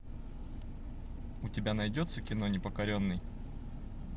у тебя найдется кино непокоренный